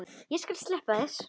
Og ég skal sleppa þér!